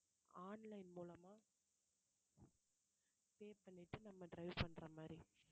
online மூலமா pay பண்ணிட்டு நம்ம drive பண்ற மாதிரி